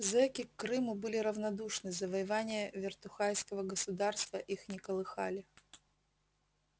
зэки к крыму были равнодушны завоевания вертухайского государства их не колыхали